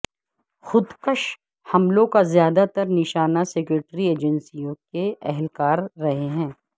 خود کش حملوں کا زیادہ تر نشانہ سکیورٹی ایجنسیوں کے اہلکار رہے ہیں